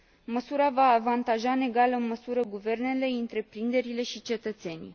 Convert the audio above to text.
Măsura va avantaja în egală măsură guvernele, întreprinderile și cetățenii.